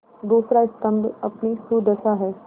दूसरा स्तम्भ अपनी सुदशा है